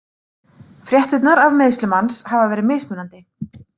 Fréttirnar af meiðslum hans hafa verið mismunandi.